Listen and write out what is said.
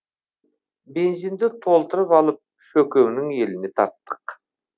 бензинді толтырып алып шөкеңнің еліне тарттық